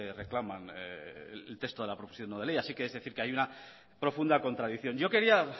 reclama en texto de la proposición no de ley así que hay una profunda contradicción yo quería